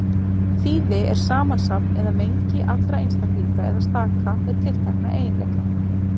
Þýði er samansafn eða mengi allra einstaklinga eða staka með tiltekna eiginleika.